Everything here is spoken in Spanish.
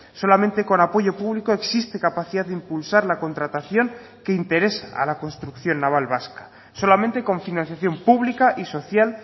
solamente con apoyo público existe capacidad de impulsar la contratación que interesa a la construcción naval vasca solamente con financiación pública y social